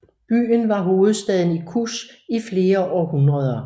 Byen var hovedstaden i Kush i flere århundreder